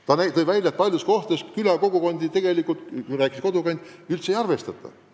Ta märkis, et paljudes kohtades külakogukondi üldse ei arvestata.